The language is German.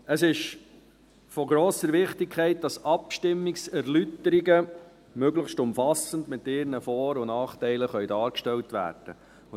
Es ist von grosser Wichtigkeit, dass Abstimmungserläuterungen möglichst umfassend mit ihren Vor- und Nachteilen dargestellt werden können.